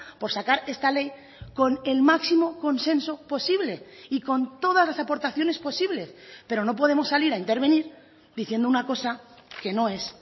por sacar esta ley con el máximo consenso posible y con todas las aportaciones posibles pero no podemos salir a intervenir diciendo una cosa que no es